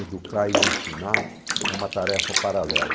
Educar e ensinar é uma tarefa paralela.